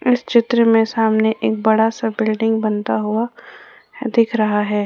इस चित्र में सामने एक बड़ा सा बिल्डिंग बनता हुआ दिख रहा है।